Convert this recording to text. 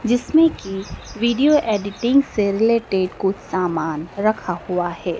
जिसमें की video editing से रिलेटेड कुछ सामान रखा हुआ है।